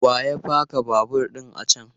Wa ya paka babur ɗin a can?